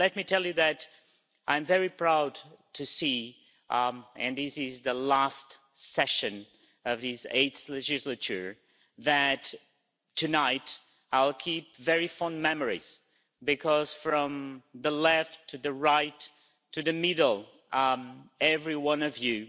And let me tell you that I'm very proud to see and this is the last part-session of this eighth legislature that tonight, I will keep very fond memories, because from the left to the right to the middle, every one of you,